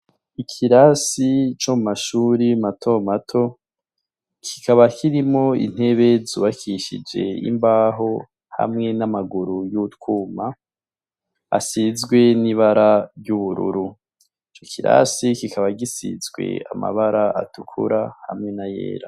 Ikirasi co mumashure mato mato , kikaba kirimwo intebe zubakishije imbaho hamwe n'amaguru y'utwuma ,asizwe n'ibara ry'ubururu. Ico kirasi kikaba gisize amabara atukura hamwe nayera.